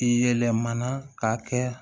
I yɛlɛmana k'a kɛ